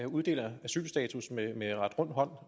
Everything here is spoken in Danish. uddeler asylstatus med ret rund hånd